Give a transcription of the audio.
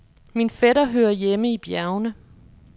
Min fætter hører hjemme i bjergene.